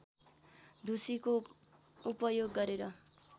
ढुसीको उपयोग गरेर